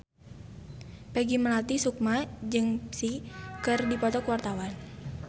Peggy Melati Sukma jeung Psy keur dipoto ku wartawan